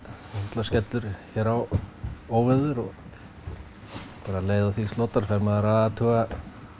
það skellur hér á óveður og um leið og því slotar fer maður að athuga